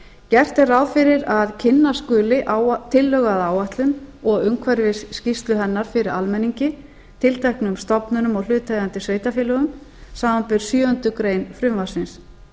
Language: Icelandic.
gert er ráð fyrir að kynna skuli tillögu að áætlun og umhverfisskýrslu hennar fyrir almenningi tilteknum stofnunum og hlutaðeigandi sveitarfélögum samanber sjöundu greinar frumvarpsins